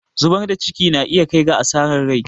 zubar da ciki na iya kai ga asarar rai